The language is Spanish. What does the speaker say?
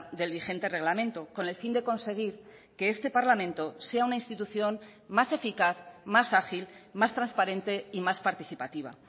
del vigente reglamento con el fin de conseguir que este parlamento sea una institución más eficaz más ágil más transparente y más participativa